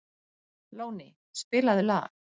Lóni, spilaðu lag.